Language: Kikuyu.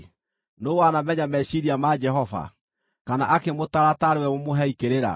Nũũ wanamenya meciiria ma Jehova, kana akĩmũtaara taarĩ we mũmũhei kĩrĩra?